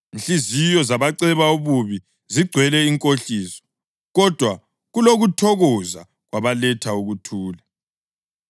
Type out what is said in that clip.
Inhliziyo zabaceba ububi zigcwele inkohliso, kodwa kulokuthokoza kwabaletha ukuthula.